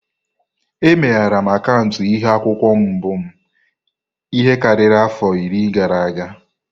Emeghere m akaụntụ Ihu-akwukwuo mbụ m ihe karịrị afọ iri gara aga.